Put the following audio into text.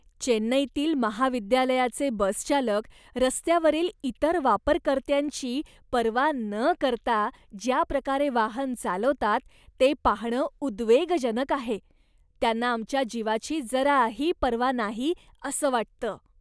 चेन्नईतील महाविद्यालयाचे बसचालक रस्त्यावरील इतर वापरकर्त्यांची पर्वा न करता ज्याप्रकारे वाहन चालवतात ते पाहणं उद्वेगजनक आहे. त्यांना आमच्या जीवाची जराही पर्वा नाही असं वाटतं.